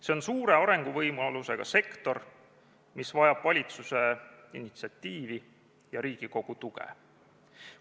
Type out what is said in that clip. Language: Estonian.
See on suure arenguvõimalusega sektor, mis vajab valitsuse initsiatiivi ja Riigikogu tuge.